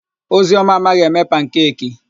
Ozioma amaghị eme pankeki.